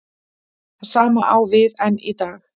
Það sama á við enn í dag.